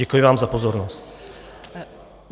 Děkuji vám za pozornost.